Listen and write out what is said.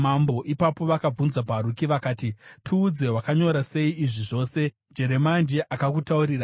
Ipapo vakabvunza Bharuki, vakati, “Tiudze, wakanyora sei izvi zvose? Jeremia ndiye akakutaurira here?”